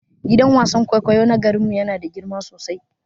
Gidan wasan kwaikwayo na garin mu yana da girma sosai.